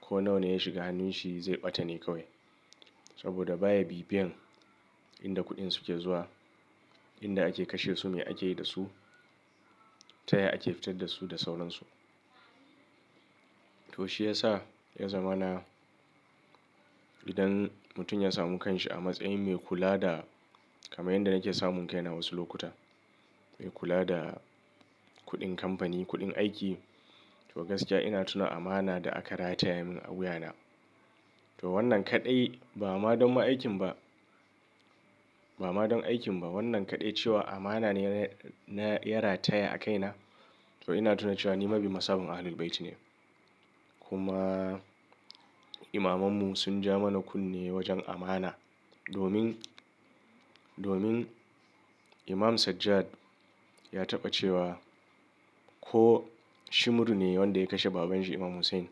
ko nawa ya shiga hannun shi zai ɓata ne kawai. Saboda baya bibiyan inda kuɗin suke zuwa, inda ake kashe su, me ake yi da su, ta ya ake fitar da su da sauransu. To shi yasa ya zama na idan mutum ya samu kanshi a matsayin me kula da kaman yanda nake samun kaina wasu lokuta. Me kula da kuɗin kamfani, kuɗin aiki. To gaskiya ina tuna amana da aka rataya min a wuya na. To wannan kaɗai ba ma don ma aikin ba, ba ma don aikin ba. Wannan kaɗai cewa amana ne na, na ya rataya a kaina. To ina tuna cewa ni mabiyin masaban Ahlul Bayti ne. Kuma imamannu sun ja mana kunne wajen amana. Domin, domin Imam Sajjad ya taɓa cewa ko shi muru ne wanda ya kashe babanshi Imam Hussain,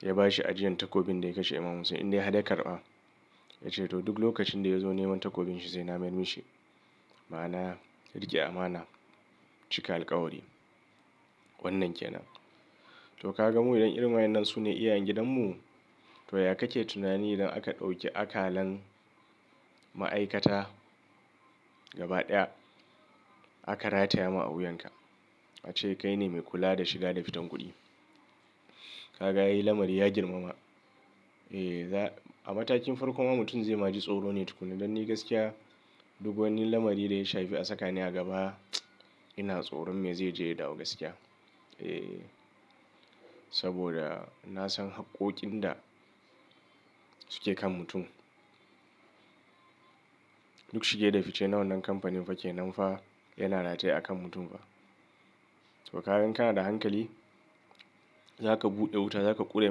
ya bashi ajiyan takobin da ya kashe Imam Hussain indai har ya karɓa. Ya ce to duk lokacin da ya zo neman takobin shi sai na mayarmushi. Ma'ana rike amana, cika alƙawari. Wannan ke nan. To kaga mu idan irin waye nan su ne iyayen gidanmu. To ya kake tunani idan aka ɗauki akalan ma'aikata gaba ɗaya aka rataya ma a wuyanka? Ace kai ne mai kula da shiga da fitan kuɗi. Ka ga ai lamari ya girmama. Eh za a matakin farko ma mutum zai ma ji tsoro ne tukuna. Dan ni gaskiya duk wani lamari da ya shafi a saka ni a gaba ina tsoron me zai je ya dawo gaskiya. Eh saboda na san haƙƙoƙin da suke kan mutum. Duk shige da fice nawan nan kamfanin fa ke nan fa yana rataye a kan mutum fa. To kaga in kana da hankali zaka buɗe wuta, zaka ƙure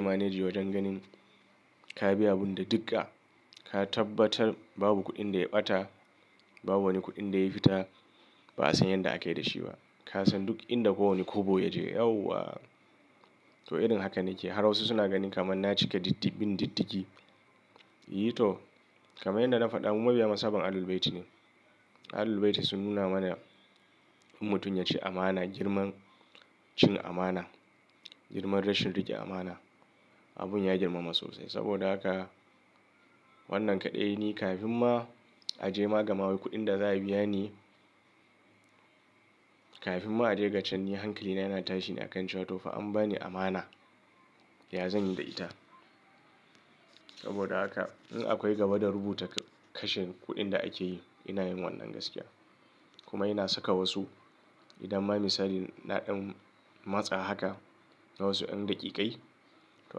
manage wajen ganin ka biya abun da digga. Ka tabbatar babu kuɗin da ya ɓata, babu wani kuɗin da ya fita ba a san yadda ake da shi ba. Ka san duk inda kowane kobo ya je. Yauwa! To irin haka nake har wasu suna ganin kamar na cike diddigin diddigi. Yi to kamar yadda na faɗa mu mabiyin masaban Ahlul Bayti ne. Ahlul Bayti sun nuna mana in mutum ya ci amana girman cin amana, girman rashin rike amana. Abun ya girmama sosai saboda haka wannan kaɗai ne kafin ma a je magamawi kuɗin da za a biya ni. Kafin ma a je gacan ni hankali na yana tashi ne a kan cewa to fa an ba ni amana, ya zan yi da ita. Saboda haka in akwai gaba da rubuta kashe kuɗin da ake yi ina yin wannan gaskiya. Kuma ina saka wasu idan ma misali na ɗan matsa haka na wasu yan daƙiƙai. To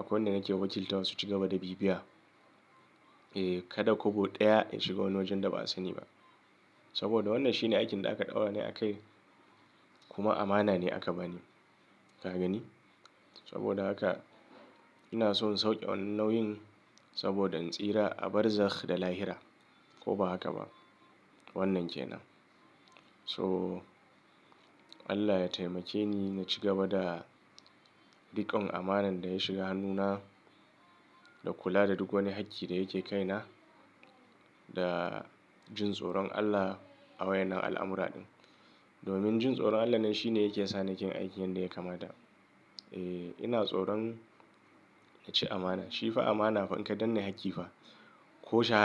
akwai wanda nake wakilta wa su ci gaba da bibiya. Eh kada kobo ɗaya ya shiga wani wajen da ba a sani ba. Saboda wannan shi ne aikin da aka ɗaura ni a kai kuma amana ne aka bani. Ka gani? Saboda haka ina son sauke wannan nauyin saboda in tsira a barzakh da lahira ko ba haka ba. Wannan ke nan. To, Allah ya taimake ni na ci gaba da riƙon amanan da ya shiga hannuna da kula da duk wani hakki da yake kai na da jin tsoron Allah a waye nan al'amura ɗin. Domin jin tsoron Allah nan shi ne yake sa nake yin aikin yadda yakamata. Eh ina tsoron na ci amana. Shi fa amana fa inka dan ne hakki fa ko shaha.